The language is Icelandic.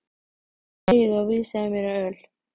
Þegiðu og vísaðu mér á öl.